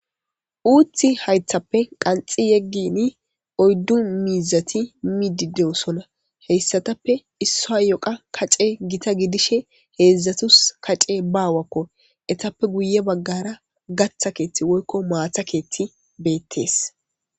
Uththi hayiththappe qanxxi yeggini oyiddu mizzati middi doosona hessatappe issayo kacceyi gitta giddishshin hedzdzatusi kacceyi bawakko ettappe guye bagara gatta keththi woyikko matta keththi bettes.